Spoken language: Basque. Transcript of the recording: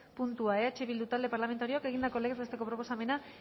puntua eh bildu talde parlamentarioak egindako legez besteko proposamena